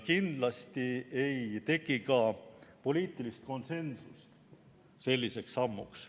Kindlasti ei teki ka poliitilist konsensust selliseks sammuks.